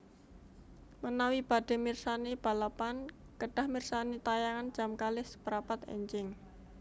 Menawi badhe mirsani balapan kedah mirsani tayangan jam kalih seprapat enjing